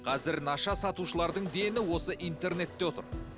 қазір наша сатушылардың дені осы интернетте отыр